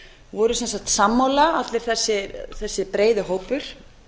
voru sem sagt sammála allur þessi breiði hópur